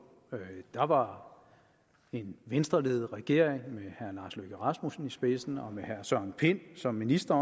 der var en venstreledet regering med herre lars løkke rasmussen i spidsen og med herre søren pind som minister